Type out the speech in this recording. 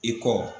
I kɔ